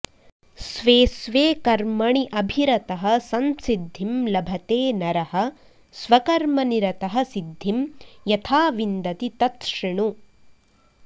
स्वे स्वे कर्मणि अभिरतः संसिद्धिं लभते नरः स्वकर्मनिरतः सिद्धिं यथा विन्दति तत् शृणु